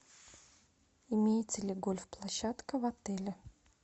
имеется ли гольф площадка в отеле